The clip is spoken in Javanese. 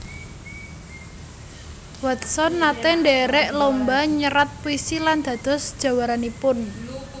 Watson naté ndhèrèk lomba nyerat puisi lan dados jawaranipun